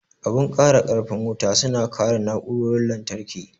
Abun kara karfin wuta su na kare na'urorin lantarki.